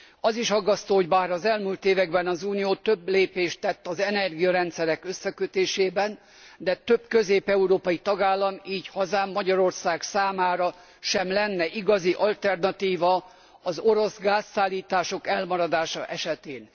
Az is aggasztó, hogy bár az elmúlt években az Unió több lépést tett az energiarendszerek összekötése érdekében, de több közép európai tagállam, így hazám, Magyarország számára sem lenne igazi alternatíva az orosz gázszállítások elmaradása esetén.